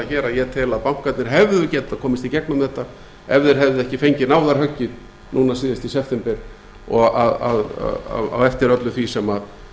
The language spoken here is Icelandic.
hér að ég tel að bankarnir hefðu getað komist í gegnum þetta ef þeir hefðu ekki fengið náðarhöggið núna síðast í september á eftir öllu því sem